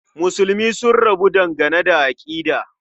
Musulmi sun rabu dangane da aƙida.